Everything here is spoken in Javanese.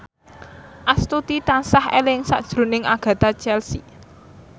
Astuti tansah eling sakjroning Agatha Chelsea